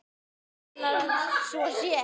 Mig grunar að svo sé.